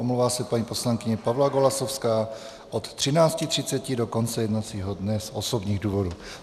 Omlouvá se paní poslankyně Pavla Golasowská od 13.30 do konce jednacího dne z osobních důvodů.